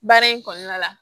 Baara in kɔnɔna la